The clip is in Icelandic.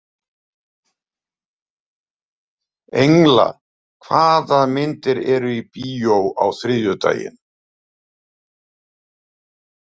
Engla, hvaða myndir eru í bíó á þriðjudaginn?